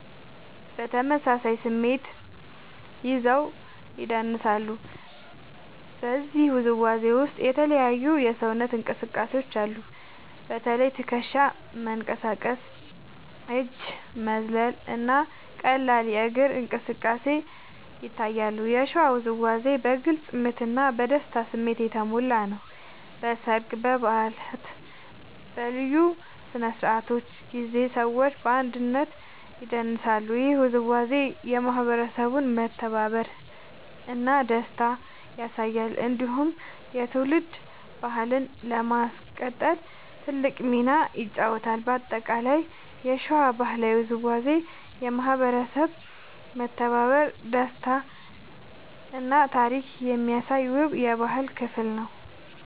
በተመሳሳይ ስሜት ይዘው ይደንሳሉ። በዚህ ውዝዋዜ ውስጥ የተለያዩ የሰውነት እንቅስቃሴዎች አሉ። በተለይ ትከሻ መንቀሳቀስ፣ እጅ መዝለል እና ቀላል እግር እንቅስቃሴ ይታያሉ። የሸዋ ውዝዋዜ በግልጽ ምት እና በደስታ ስሜት የተሞላ ነው። በሰርግ፣ በበዓላት እና በልዩ ስነ-ስርዓቶች ጊዜ ሰዎች በአንድነት ይደንሳሉ። ይህ ውዝዋዜ የማህበረሰቡን መተባበር እና ደስታ ያሳያል። እንዲሁም የትውልድ ባህልን ለማስቀጠል ትልቅ ሚና ይጫወታል። በአጠቃላይ የሸዋ ባህላዊ ውዝዋዜ የማህበረሰብ መተባበር፣ ደስታ እና ታሪክ የሚያሳይ ውብ የባህል ክፍል ነው።